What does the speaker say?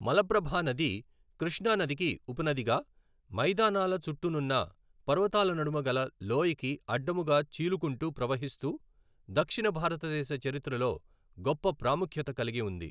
మలప్రభా నది కృష్ణా నదికి ఉపనదిగా మైదానాల చుట్టునున్న పర్వతాల నడుమ గల లోయకి అడ్డముగా చీలుకుంటూ ప్రవహిస్తూ దక్షిణ భారతదేశ చరిత్రలో గొప్ప ప్రాముఖ్యత కలిగి ఉంది.